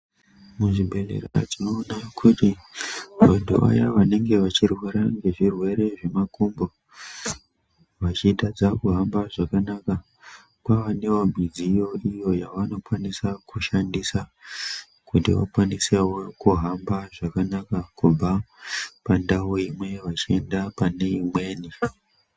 Muzvibhedhlera tinoona kuti vantu vaya vanenge vachirwara ngezvirwere zvemakumbo vachitadza kuhamba zvakanaka kwavanewo midziyo iyi yavanokwanisa kushandisa Kuti vakwanisewo kuhamba zvakanaka kubva pandau imwe vachienda pane imweni.